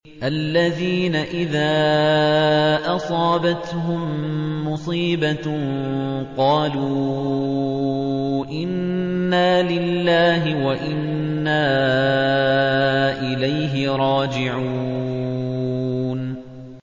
الَّذِينَ إِذَا أَصَابَتْهُم مُّصِيبَةٌ قَالُوا إِنَّا لِلَّهِ وَإِنَّا إِلَيْهِ رَاجِعُونَ